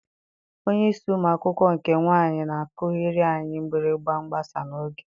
Onyeisi ụmụ akwụkwọ nke nwaanyị na-akụghịrị anyị mgbịrịgba mgbasa n'oge.